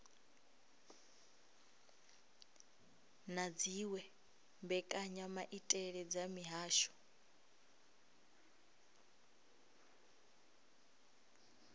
na dziwe mbekanyamaitele dza mihasho